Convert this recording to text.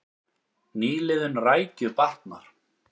Nýliðun rækju batnar